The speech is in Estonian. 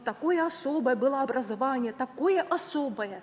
Takoje osoboje bõlo obrazovanije, takoje osoboje.